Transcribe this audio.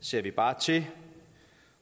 ser vi bare til